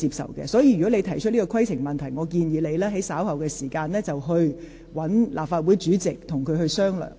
所以，郭議員，如果你有此規程問題，我建議你稍後與立法會主席商討。